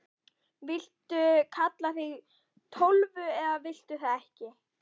Viltu kalla þig Tólfu eða viltu það ekki?